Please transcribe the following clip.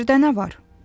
Yerdə nə var?